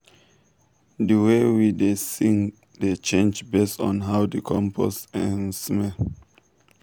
the way we um da sing dey change based on how the compost dey um smell.